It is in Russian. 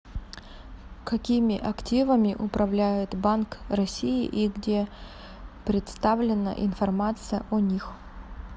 какими активами управляет банк россии и где представлена информация о них